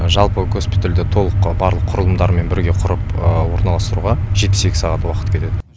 жалпы госпитальді толық барлық құрылымдармен бірге құрып орналастыруға жетпіс екі сағат уақыт кетеді